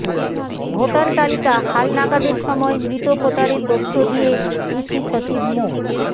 voter তালিকা হালনাগাদের সময় মৃত ভোটারের তথ্য দিয়ে ইসি সচিব মো